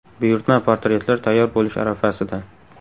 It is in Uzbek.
Buyurtma portretlar tayyor bo‘lish arafasida.